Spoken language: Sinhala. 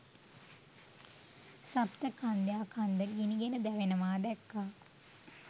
සප්ත කන්‍යා කන්ද ගිනිගෙන දැවෙනවා දැක්කා.